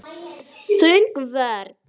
Þung vörn.